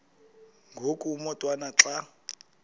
ngoku umotwana xa